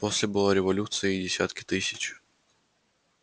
после была революция и десятки тысяч